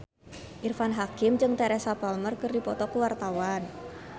Irfan Hakim jeung Teresa Palmer keur dipoto ku wartawan